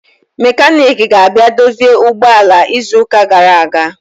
Mekaniki ga-abịa dozie ụgbọ ala izu ụka gara aga